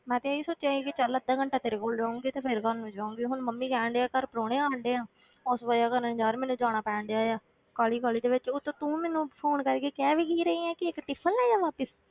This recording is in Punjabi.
ਮੈਂ ਤੇ ਇਹੀ ਸੋਚਿਆ ਸੀ ਕਿ ਚੱਲ ਅੱਧਾ ਘੰਟਾ ਤੇਰੇ ਕੋਲ ਰਹੂੰਗੀ ਤੇ ਫਿਰ ਘਰ ਨੂੰ ਜਾਊਂਗੀ, ਹੁਣ ਮੰਮੀ ਕਹਿੰਦੇ ਆ ਘਰ ਪਰਾਹੁਣੇ ਆਉਣ ਡਿਆ ਉਸ ਵਜ੍ਹਾ ਕਾਰਨ ਯਾਰ ਮੈਨੂੰ ਜਾਣਾ ਪੈਣ ਡਿਆ ਆ, ਕਾਹਲੀ ਕਾਹਲੀ ਦੇ ਵਿੱਚ, ਉੱਤੋਂ ਤੂੰ ਮੈਨੂੰ phone ਕਰਕੇ ਕਹਿ ਵੀ ਕੀ ਰਹੀ ਹੈ ਕਿ ਇੱਕ tiffin ਲਈ ਆਵਾਂ।